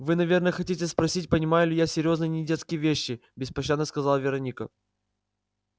вы наверное хотите спросить понимаю ли я серьёзные недетские вещи беспощадно сказала вероника